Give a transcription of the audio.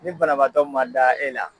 Nin banabaatɔ ma da e la